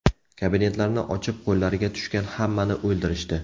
Kabinetlarni ochib, qo‘llariga tushgan hammani o‘ldirishdi.